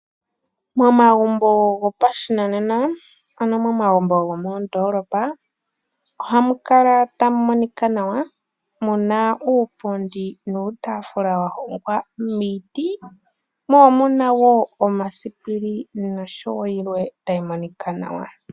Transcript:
Momagumbo gopashinanena, ano momagumbo go moondoolopa, ohamu kala tamu monika nawa, muna uupundi nuutafula wa hongwa miiti, mo omuna woo omasipili noshowo yilwe tayi monika nawa.